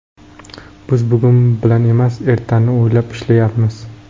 Biz bugun bilan emas, ertani o‘ylab ishlayapmiz.